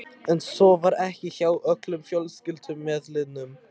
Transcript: En svo var ekki hjá öllum fjölskyldumeðlimum.